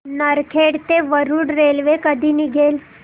नरखेड ते वरुड रेल्वे कधी निघेल